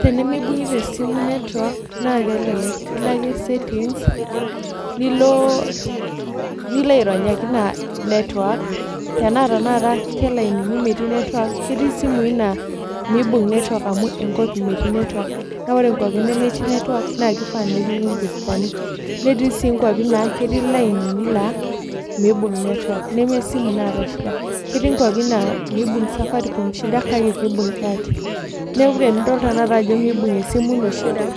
Tenimibungita esimu network, naa kelelek, ilo ake settings nilo aironyaki ina network. Tenaa tenakata kelainini metii network, ketii isimui naa miibung network amu enkop metii network. Naa wore inkiuapin nemetii network naa kifaa nepiki imboostani. Netii sii inkiuapin naa ketii ilainini laa miibung network, neme esimu naata shida. Ketii inkiuapin naa miibung safaricom kake kiimbung Airtel. Neeku tenidol tenakata ajo miibung esimu ino shida,